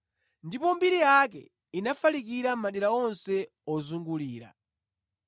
Ndipo mbiri yake inafalikira madera onse ozungulira.